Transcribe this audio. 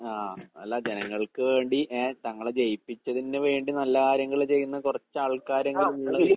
ആഹ് അല്ല ജനങ്ങൾക്ക് വേണ്ടി ഏഹ് തങ്ങളെ ജയിപ്പിച്ചതിന് വേണ്ടി നല്ല കാര്യങ്ങള് ചെയ്യുന്ന കൊറച്ചാൾക്കാരെങ്കിലും